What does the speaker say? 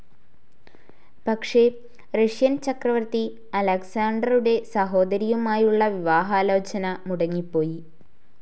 പക്ഷെ റഷ്യൻ ചക്രവർത്തി അലക്സാണ്ടറുടെ സഹോദരിയുമായുള്ള വിവാഹാലോചന മുടങ്ങിപ്പോയി,.